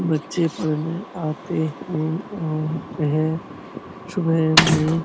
बच्चे पढने आते हैं और वह सुभे में --